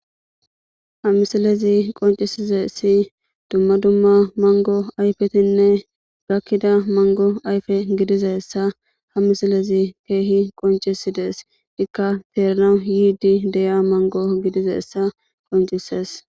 Ha misilezi qoncisize si dumma dumma mango ayfetinne gakkida mango ayfe gidizessa ha misilezi keehi qoncisidees, ikka teernawu yiidi deya mango gidizeessa qoncises.